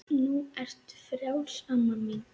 Nú ertu frjáls amma mín.